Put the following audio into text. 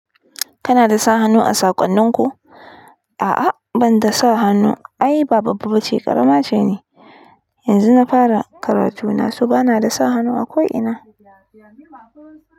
Kana da sa hannu a saƙonnin ku? A'a ban da sa hannu. Ai ba babba ba ce ƙarama ce ni. Yanzu na fara karatu na, so ba na da sa hannu a ko ina.